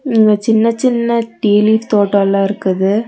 இங்க சின்ன சின்ன டீ லீஃப் தோட்டோல்லா இருக்குது.